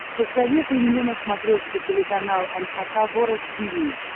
посоветуй мне на смотрешке телеканал эн эйч кей волд ти ви